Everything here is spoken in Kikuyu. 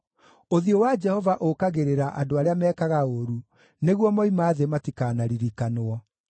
ũthiũ wa Jehova ũũkagĩrĩra andũ arĩa mekaga ũũru, nĩguo moima thĩ matikanaririkanwo.